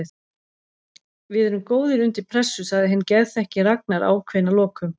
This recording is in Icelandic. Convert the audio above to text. Við erum góðir undir pressu, sagði hinn geðþekki Ragnar ákveðinn að lokum.